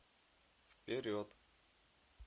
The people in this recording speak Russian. вперед